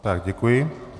Tak děkuji.